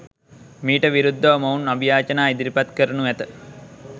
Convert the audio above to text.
මීට විරුද්ධව මොවුන් අභියාචනා ඉදිරිපත් කරනු ඇත.